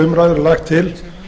er lagt til